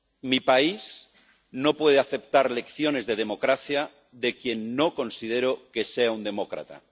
Mi país no puede aceptar lecciones de democracia de quien no considero que sea un demócrata